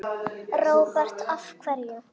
Róbert: Af hverju?